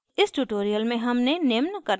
इस tutorial में हमने निम्न करना सीखा